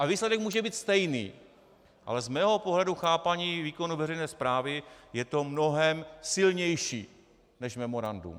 A výsledek může být stejný, ale z mého pohledu chápání výkonu veřejné správy je to mnohem silnější než memorandum.